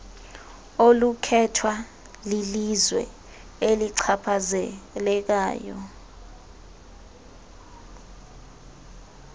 olukhethwa lilizwe elichaphazelekayo